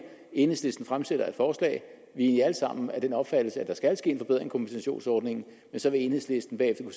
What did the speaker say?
enhedslisten fremsætter et forslag vi er alle sammen af den opfattelse at der skal ske en forbedring af kompensationsordningen men så vil enhedslisten bagefter